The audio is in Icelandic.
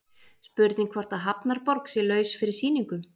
Spurning hvort að Hafnarborg sé laus fyrir sýningu?